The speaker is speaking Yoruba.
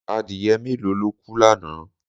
Adìyẹ mélòó ló kú lánàá?